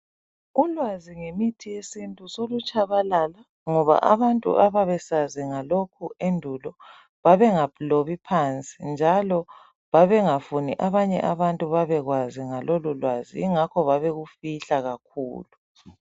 Ulwazi ngemithi yesintu solutshabalala ngoba abantu ababesazi ngalokhu endulo babengalobi phansi njalo babengafuni abanye abantu babekwazi ngalolulwazi ingakho babekufihla kakhulu